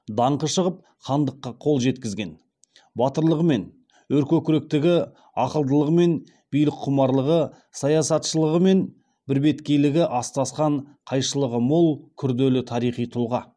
даңқы шығып хандыққа қол жеткізген батырлығы мен өркөкіректігі ақылдылығы мен билікқұмарлығы саяхатшылығы мен бірбеткейлігі астасқан қайшылығы мол күрделі тарихи тұлға